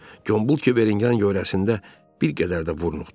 Gombul Kiverin yan-yörəsində bir qədər də vur-nuxtu.